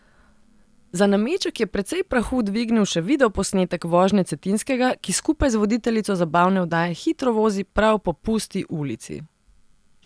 Za nameček je precej prahu dvignil še videoposnetek vožnje Cetinskega, ki skupaj z voditeljico zabavne oddaje hitro vozi prav po Pusti ulici.